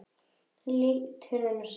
Lét hurðina snúa upp.